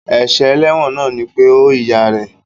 Èsè eléwòn náà ni pe ó ìyá rè